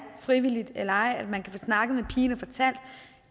frivilligt eller ej så kan man få snakket med pigen og fortalt at